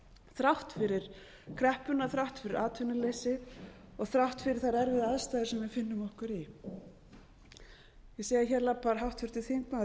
þrátt fyrir kreppuna þrátt fyrir atvinnuleysið og þrátt fyrir þær erfiðu aðstæður sem við finnum okkur í ég sé að hér labbar háttvirtur þingmaður